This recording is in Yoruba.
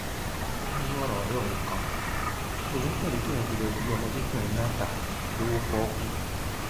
ó ní ìmọràn ọrẹ òun kan lòun tẹlẹ tí òun fi lọọ gbé ọmọdékùnrin náà ta lọwọ pọọkú